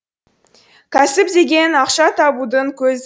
кәсіп деген ақша табудың көзі